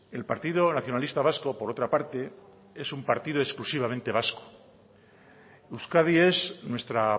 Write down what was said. el partido nacionalista vasco por otra parte es un partido exclusivamente vasco euskadi es nuestra